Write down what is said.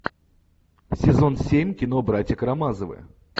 сезон семь кино братья карамазовы